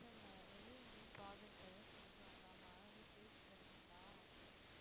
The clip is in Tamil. இல்ல இல்ல வெளிய எங்கையும் project செஞ்சு வாங்காம வீட்லயே செஞ்சீங்களா அப்படினு கேக்கற